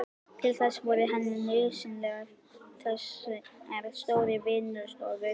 Til þess voru henni nauðsynlegar þessar stóru vinnustofur.